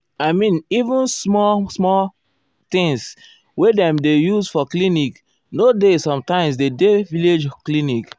i mean even small small erm things wey dem dey use for clinc nor dey sometimes dey village clinic.